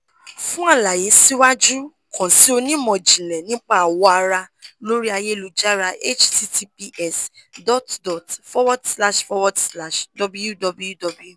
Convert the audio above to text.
fun àlàyé siwaju kan si onimọ-jinlẹ nipa awọ ara lori ayélujára https dot dot forward slash forward slash www